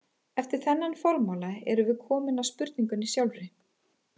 Eftir þennan formála erum við komin að spurningunni sjálfri.